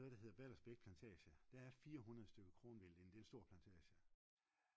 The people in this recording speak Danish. på noget der hedder Baldersbæk plantage der er 400 stykker kronvild det er en stor plantage